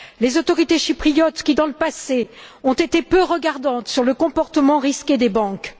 Les autorités chypriotes qui, par le passé, ont été peu regardantes sur le comportement risqué des banques...